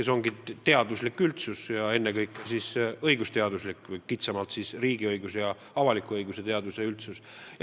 Ma pean silmas teadusüldsust, ennekõike aga õigusteaduse või kitsamalt riigiõiguse ja avaliku õiguse spetsialiste.